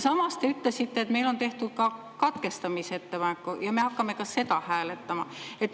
Samas te ütlesite, et on tehtud ka katkestamisettepanek ja me hakkame ka seda hääletama.